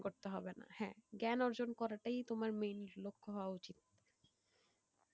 করতে হবে না হ্যাঁ জ্ঞান অর্জন করাটাই তোমার main লক্ষ্য হওয়া উচিত,